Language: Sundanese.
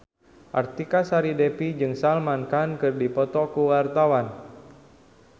Artika Sari Devi jeung Salman Khan keur dipoto ku wartawan